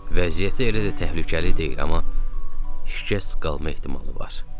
Vəziyyəti elə də təhlükəli deyil, amma şikəst qalma ehtimalı var.